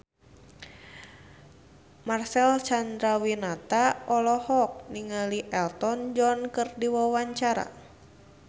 Marcel Chandrawinata olohok ningali Elton John keur diwawancara